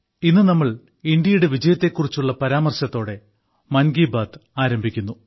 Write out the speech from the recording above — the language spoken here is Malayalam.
ഇന്ത്യയുടെ വിജയത്തെ കുറിച്ചുള്ള പരാമർശത്തോടെ ഇന്നത്തെ മൻ കി ബാത്ത് ആരംഭിക്കുന്നു